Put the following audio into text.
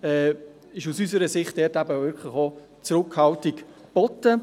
Deshalb ist aus unserer Sicht Zurückhaltung angebracht.